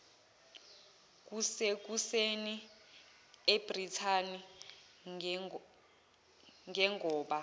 kusekuseni ebrithani ngengoba